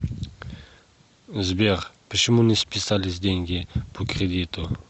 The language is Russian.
сбер почему не списались деньги по кредиту